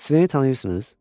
Sveni tanıyırsınız?